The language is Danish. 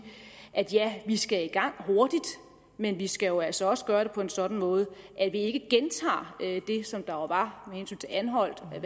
ja vi skal i gang hurtigt men vi skal jo altså også gøre det på en sådan måde at vi ikke gentager det som der var med hensyn til anholt man